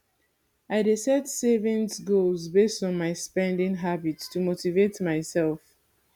i dey set savings goals based on my spending habits to motivate myself